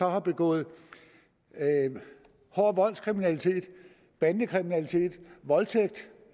har begået hård voldskriminalitet bandekriminalitet voldtægt